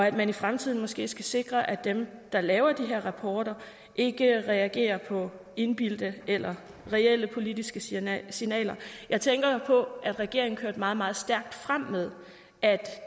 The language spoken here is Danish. i fremtiden måske skal sikres at dem der laver de her rapporter ikke reagerer på indbildte eller reelle politiske signaler signaler jeg tænker på at regeringen kørte meget meget stærkt frem med at